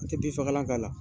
An tɛ bin fakalan k'a la